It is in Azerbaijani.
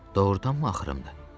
Doğurdanmı axırımdı?